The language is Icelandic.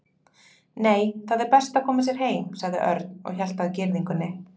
Nei, það er best að koma sér heim sagði Örn og hélt áfram að girðingunni.